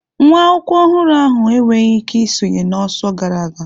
Nwa akwụkwọ ọhụrụ ahụ enweghị ike isonye na ọsọ gara aga.